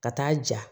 Ka taa ja